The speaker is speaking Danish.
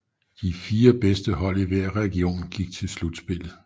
De 4 bedste hold i hver region gik til slutspillet